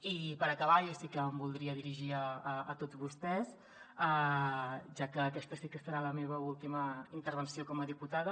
i per acabar jo sí que em voldria dirigir a tots vostès ja que aquesta sí que serà la meva última intervenció com a diputada